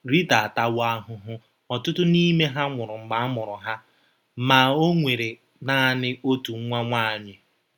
Rịta atawo ahụhụ ọtụtụ n'ime ha nwụrụ mgbe amụrụ ha, ma o nwere nanị otu nwa nwanyị.